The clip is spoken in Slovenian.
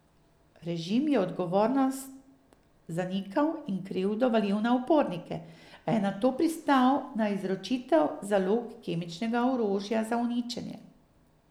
Režim je odgovornost zanikal in krivdo valil na upornike, a je nato pristal na izročitev zalog kemičnega orožja za uničenje.